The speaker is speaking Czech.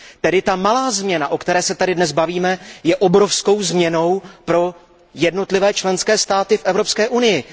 Tedy ta malá změna, o které se tady dnes bavíme, je obrovskou změnou pro jednotlivé členské státy v Evropské unii.